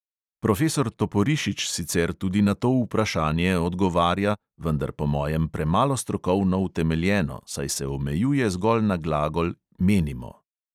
Profesor toporišič sicer tudi na to vprašanje odgovarja, vendar po mojem premalo strokovno utemeljeno, saj se omejuje zgolj na glagol "menimo".